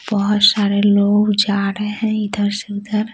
बहुत सारे लोग जा रहे हैं इधर से उधर--